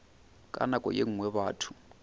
ka nako ye nngwe batho